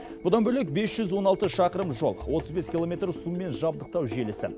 бұдан бөлек бес жүз он алты шақырым жол отыз бес километр сумен жабдықтау желісі